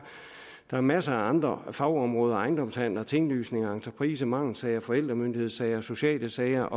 der masser af andre fagområder som ejendomshandler tinglysninger entrepriser mangelsager forældremyndighedssager sociale sager